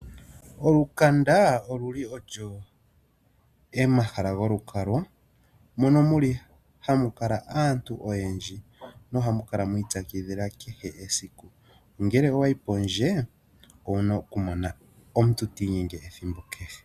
Olukanda oluli olwo omahala golukalwa mono hamu kala aantu oyendji nohamu kala mwiitsakidhila kehe esiku. Ngele owayi pondje owuna okumona po omuntu ta inyenge ethimbo kehe.